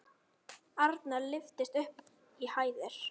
Arnar lyftist upp í hæðir.